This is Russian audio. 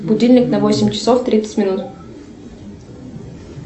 будильник на восемь часов тридцать минут